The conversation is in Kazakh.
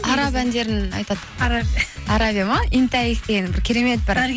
араб әндерін айтады арабия ма деген керемет бір